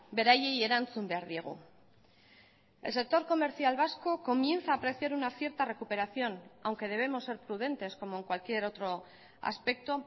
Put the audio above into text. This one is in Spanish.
beraiei erantzun behar diegu el sector comercial vasco comienza a apreciar una cierta recuperación aunque debemos ser prudentes como en cualquier otro aspecto